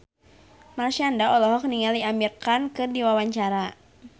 Marshanda olohok ningali Amir Khan keur diwawancara